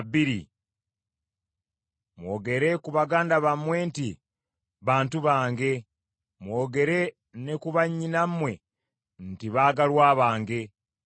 “Mwogere ku baganda bammwe nti, ‘bantu bange,’ mwogere ne ku bannyinammwe nti, ‘baagalwa bange.’ ”